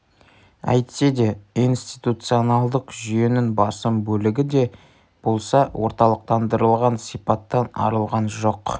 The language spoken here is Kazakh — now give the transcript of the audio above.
әйтсе де институционалдық жүйенің басым бөлігі лі де болса орталықтандырылған сипаттан арылған жоқ